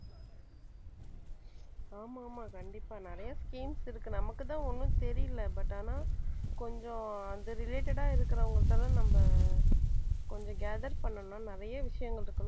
ஆமா ஆமா கண்டிப்பா நிறைய schemes இருக்கு நமக்குத்தான் ஒண்ணும் தெரியலே but ஆனா கொஞ்சம் அந்த related ஆ இருக்கிறவங்கள்ட்ட எல்லாம் நம்ம கொஞ்சம் gather பண்ணுனா நிறைய விஷயங்கள் இருக்கும்